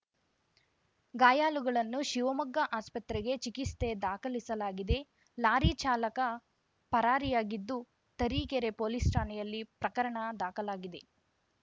ಗಾಯಾಳುಗಳನ್ನು ಶಿವಮೊಗ್ಗ ಆಸ್ಪತ್ರೆಗೆ ಚಿಕಿಸ್ತೆ ದಾಖಲಿಸಲಾಗಿದೆ ಲಾರಿ ಚಾಲಕ ಪರಾರಿಯಾಗಿದ್ದು ತರೀಕೆರೆ ಪೊಲೀಸ್‌ ಠಾಣೆಯಲ್ಲಿ ಪ್ರಕರಣ ದಾಖಲಾಗಿದೆ